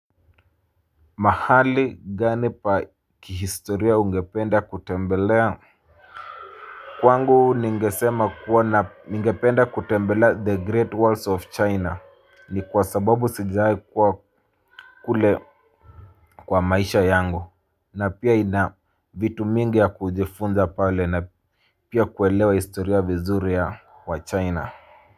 Mahali gani pa kihistoria ungependa kutembelea Kwangu ningesema kuona ngependa kutembelea the great wars of china ni kwa sababu sijae kuwa kule kwa maisha yangu na pia ina vitu mingi ya kujifunza pale na pia kuelewa historia vizuri ya wa china na.